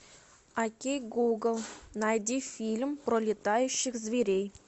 окей гугл найди фильм про летающих зверей